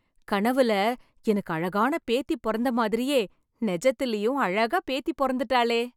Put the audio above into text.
கனவுல, எனக்கு அழகான பேத்தி பொறந்த மாதிரியே, நெஜத்திலும் அழகா பேத்தி பொறந்துட்டாளே...